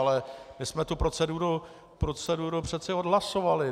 Ale my jsme tu proceduru přeci odhlasovali.